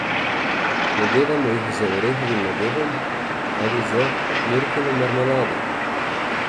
Nadevamo jih z orehovim nadevom ali z jurkino marmelado.